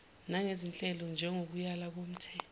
nangezinhlelo njengokuyala komthe